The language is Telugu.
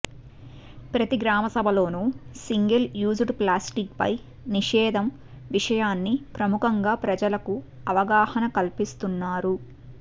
ప్రతీ గ్రామసభలోనూ సింగిల్ యూజ్డ్ ప్లాస్టిక్పై నిషేధం విషయాన్ని ప్రముఖంగా ప్రజలకు అవగాహన కల్పిస్తున్నారు